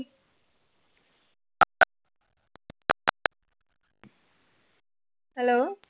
Hello